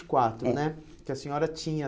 e quatro né É. Que a senhora tinha.